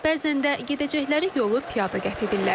Bəzən də gedəcəkləri yolu piyada qət edirlər.